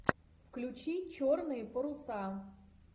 включи черные паруса